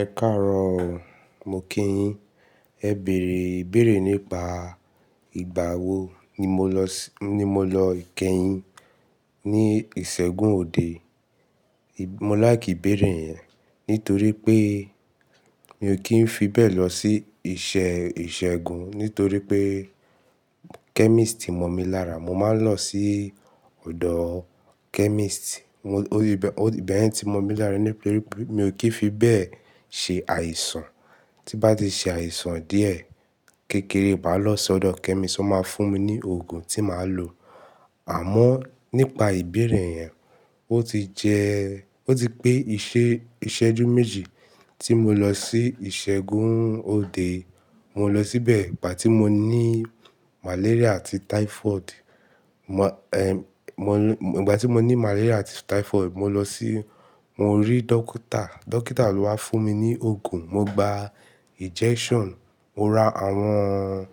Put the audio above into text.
Ẹ̀karọ̀ọ mo kí yín. Ẹ bere ìbéèrè nípa ìgbà wo ni mo lọ ikeyìn ní ìṣègùn òde. Mo láì kìí bèèrè yẹn nítorí pé mi ò kí ń fi bẹ́ẹ̀ lọ sí iṣẹ́ ìṣègùn, nítorí pé chemist ti mọ̀ mi lára. Mo máa ń lọ sí ọ̀dọ̀ chemist. Ó ti bẹ́ẹ̀ tí mọ̀ mi lára níbi pé mi ò kí ń fi bẹ́ẹ̀ ṣe àìsàn. Tí bá ti ṣe àìsàn díẹ̀, kékeré, màá lọ sí ọ̀dọ̀ chemist, ó máa fún mi ní òògùn tí màá lò. Àmọ́ nípa ìbéèrè yẹn, ó ti jẹ́, ó ti pé ìṣẹ́jú méjì tí mo lọ sí ìṣègùn òde. Mo lọ síbẹ̀ ìgbà tí mo ní malaria àti typhoid. Mo, ẹ, mo, ìgbà tí mo ní malaria àti typhoid, mo lọ sí, mo rí dókítà. Dókítà ló wá fún mi ní òògùn, mo gba injection, mo ra àwọn